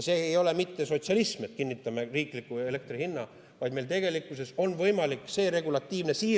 See ei ole mitte sotsialism, et kinnitame riikliku elektri hinna, vaid meil on võimalik regulatiivne siire.